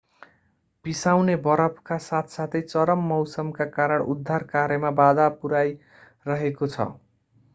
पिसाउने बरफका साथसाथै चरम मौसमका कारण उद्धार कार्यमा बाधा पुर्‍याइरहेको छ।